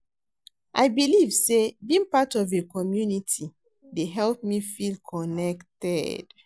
I believe say being part of a community dey help me feel connected.